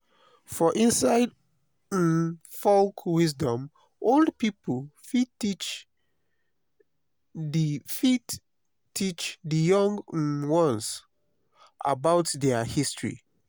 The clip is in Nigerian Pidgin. for inside um folk wisdom old pipo fit teach di fit teach di young um ones about their history